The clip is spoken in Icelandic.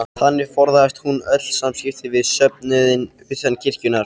Þannig forðaðist hún öll samskipti við söfnuðinn utan kirkjunnar.